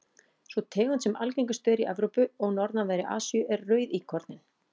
sú tegund sem algengust er í evrópu og norðanverðri asíu er rauðíkorninn